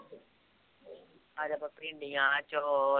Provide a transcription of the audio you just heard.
ਕੱਲ ਆਪਾ ਭੀਂਡੀਆਂ ਅੱਜ ਹੋਰ